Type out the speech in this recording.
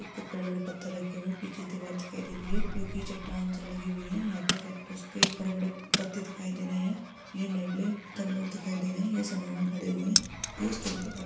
एक बहुत बड़े-बड़े पत्थर रखे हुए हैं| पीछे दीवार दिखाई दे रही है जोकी चट्टान से लगी हुई है| यहां पे केक्टस के बड़े -बड़े पत्ते दिखाई दे रहे हैं| ये नेवले हुए दिखाई दे रहे हैं| यह समूह में खड़े हुए हैं। --